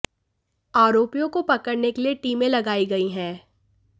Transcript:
आरोपियों को पकड़ने के लिए टीमें लगाई गई हैं